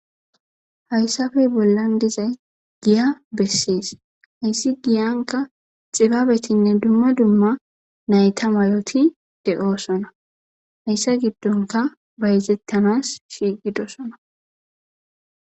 hayssafe bollan dizay giya bessees hayssi giyanka xibabetinne dumma dumma nayta mayoti de'oosona hayssa giddonka bayzettanas shiiqidosona